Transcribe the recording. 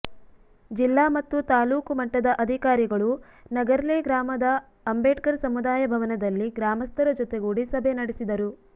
ಜಿಲ್ಲಾ ಮತ್ತು ತಾಲೂಕು ಮಟ್ಟದ ಅಧಿಕಾರಿಗಳು ನಗರ್ಲೆ ಗ್ರಾಮದ ಅಂಬೇಡ್ಕರ್ ಸಮುದಾಯ ಭವನದಲ್ಲಿ ಗ್ರಾಮಸ್ಥರ ಜೊತೆಗೂಡಿ ಸಭೆ ನಡೆಸಿದರು